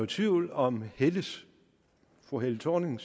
tvivl om fru helle thorning